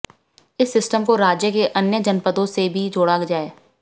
इस सिस्टम को राज्य के अन्य जनपदों से भी जोड़ा जाए